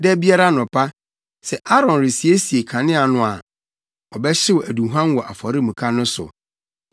“Da biara anɔpa, sɛ Aaron resiesie kanea no a, ɔbɛhyew aduhuam wɔ afɔremuka no so.